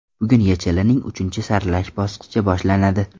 Bugun YeChLning uchinchi saralash bosqichi boshlanadi.